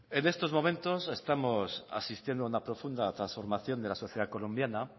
en estos momentos estamos asistiendo a una profunda transformación de la sociedad colombiana